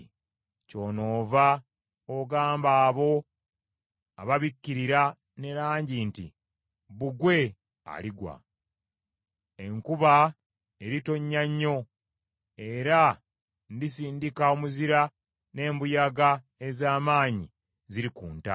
kyonoova ogamba abo ababikkirira ne langi nti bbugwe aligwa. Enkuba eritonnya nnyo, era ndisindika omuzira, n’embuyaga ez’amaanyi zirikunta.